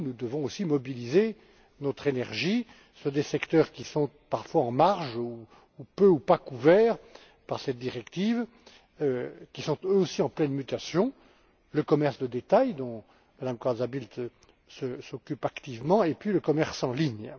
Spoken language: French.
Nous devons aussi mobiliser notre énergie sur des secteurs qui sont parfois en marge, peu ou pas couverts par cette directive, et qui sont eux aussi en pleine mutation le commerce de détail dont Mme Corazza Bildt s'occupe activement et le commerce en ligne.